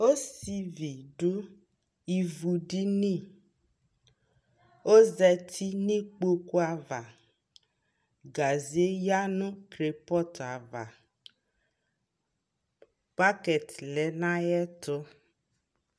Ɔsivi duivu diniƆzati nu ikpoku avaGaze ya nu kolpɔt avaBakɛt lɛ nu ayɛ tu